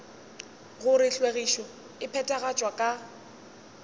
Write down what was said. gore hlwekišo e phethagatšwa ka